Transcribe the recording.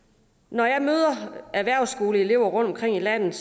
når jeg møder erhvervsskoleelever rundtomkring i landet